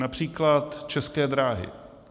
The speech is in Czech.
Například České dráhy.